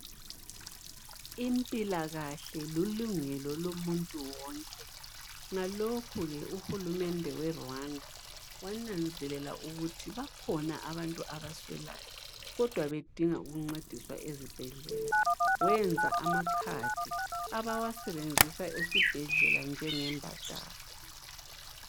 Impilakahle lilungelo lomuntu wonke ngalokhu ke uhulumende weRwanda wananzelela ukuthi bakhona abantu abaswelayo kodwa bedinga ukuncediswa ezibhedlela wenza amacard abawasebenzisa esibhedlela njengembadalo.